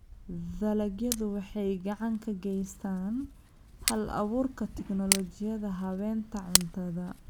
Dalagyadu waxay gacan ka geystaan ??hal-abuurka tignoolajiyada habaynta cuntada.